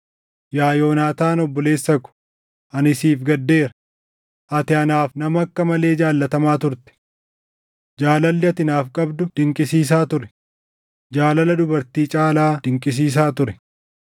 Yaa Yoonaataan obboleessa ko, ani siif gaddeera; ati anaaf nama akka malee jaallatamaa turte. Jaalalli ati naaf qabdu dinqisiisaa ture; jaalala dubartii caalaa dinqisiisaa ture.